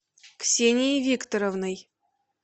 ксенией викторовной